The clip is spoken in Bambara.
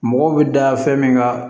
Mɔgɔw bɛ da fɛn min kan